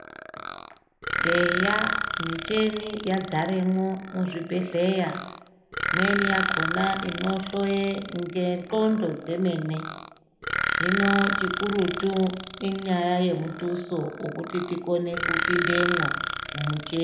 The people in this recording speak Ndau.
Eya micheni yadzaremwo muzvibhedhleya. Imweni yakhona inohloye ngendxondo dzemene hino chikurutu inyaya yemutuso wokuti tikone kupindemwo mumuche.